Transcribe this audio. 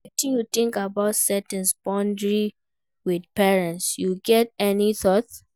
wetin you think about setting boundaries with parents, you get any thought?